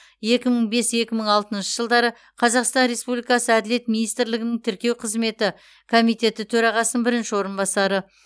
екі мың бес екі мың алтыншы жылдары қазақстан республикасы әділет министрлігінің тіркеу қызметі комитеті төрағасының бірінші орынбасары